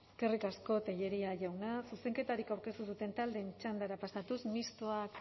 eskerrik asko tellería jauna zuzenketarik aurkeztu ez duten taldeen txandara pasatuz mistoak